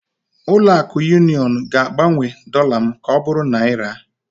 Ụlọ akụ Union ga-agbanwe dollar m ka ọ bụrụ naira?